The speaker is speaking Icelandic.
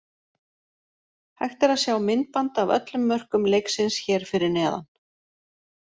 Hægt er að sjá myndband af öllum mörkum leiksins hér fyrir neðan.